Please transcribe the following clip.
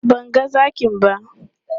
Ban ga zakin ba.